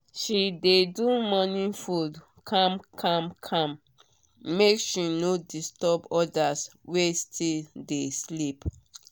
she dey do morning food calm calm calm make she no disturb others wey still dey sleep.